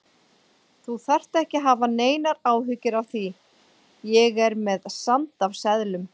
Þú þarft ekki að hafa neinar áhyggjur af því. ég er með sand af seðlum.